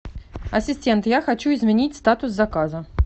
ассистент я хочу изменить статус заказа